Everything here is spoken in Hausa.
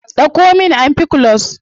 Dauko min ampiclox.